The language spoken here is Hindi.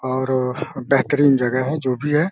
और अ बेहतरीन जगह है जो भी है।